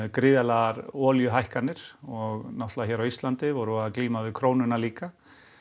gríðarlegar olíuhækkanir og náttúrulega hér á Íslandi vorum við að glíma við krónuna líka